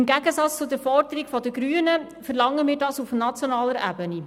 Im Gegensatz zur Forderung der Grünen verlangen wir dies auf nationaler Ebene.